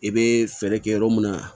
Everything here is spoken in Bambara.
I bɛ fɛɛrɛ kɛ yɔrɔ mun na